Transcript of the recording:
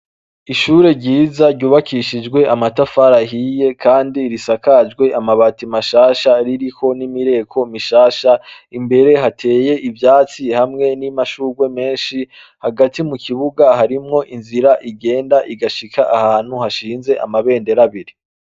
Ishure ryiza ryubakishijwe amatafari ahiye kandi isakajwe amabati mashasha ririko nimireko mishasha imbere hateye ivyatsi hamwe namashurwe menshi hagati mukibuga hariho inzira igenda igashika ahantu hashinze amabendera abiri.